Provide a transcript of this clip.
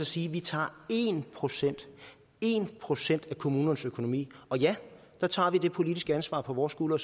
sige at vi tager en procent en procent af kommunernes økonomi der tager vi det politiske ansvar på vores skuldre